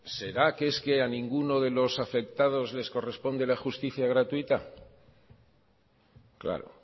será que es que a ninguno de los afectados les corresponde la justicia gratuita claro